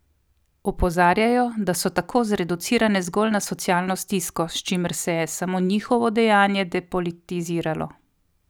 Opozarjajo, da so tako zreducirane zgolj na socialno stisko, s čimer se je samo njihovo dejanje depolitiziralo.